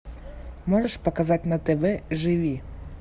можешь показать на тв живи